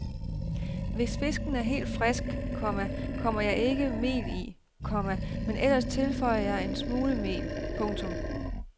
Hvis fisken er helt frisk, komma kommer jeg ikke mel i, komma men ellers tilføjer jeg en smule mel. punktum